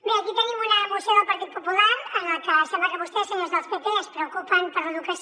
bé aquí tenim una moció del partit popular en la que sembla que vostès senyors del pp es preocupen per l’educació